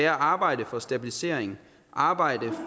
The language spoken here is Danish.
at arbejde for stabilisering arbejde